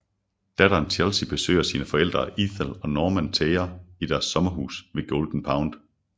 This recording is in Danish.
Datteren Chelsey besøger sine forældre Ethel og Norman Thayer i deres sommerhus ved Golden Pond